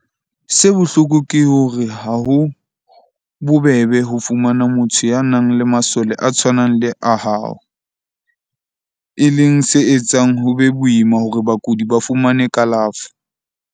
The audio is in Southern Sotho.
Se bohloko ke hore ha ho bobebe ho fumana motho ya nang le masole a tshwanang le a hao, e leng se etsang ho be boima hore bakudi ba fumane kalafo.